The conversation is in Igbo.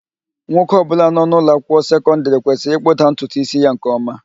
Nwoke ọbụla nọ n'ụlọ akwụkwọ sekọndịrị kwesịrị ịkpụda ntutu ísí ya nke ọma